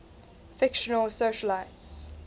fictional socialites